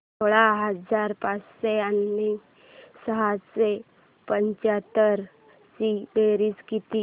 सोळा हजार पाचशे आणि सहाशे पंच्याहत्तर ची बेरीज किती